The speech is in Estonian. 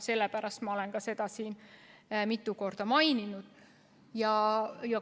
Sellepärast ma olen seda ka siin mitu korda maininud.